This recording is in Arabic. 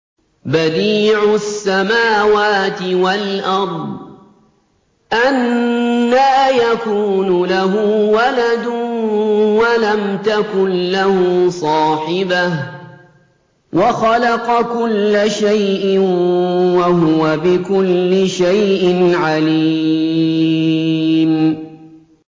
بَدِيعُ السَّمَاوَاتِ وَالْأَرْضِ ۖ أَنَّىٰ يَكُونُ لَهُ وَلَدٌ وَلَمْ تَكُن لَّهُ صَاحِبَةٌ ۖ وَخَلَقَ كُلَّ شَيْءٍ ۖ وَهُوَ بِكُلِّ شَيْءٍ عَلِيمٌ